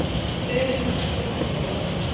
Fegurðin hjálpar í þessum bransa.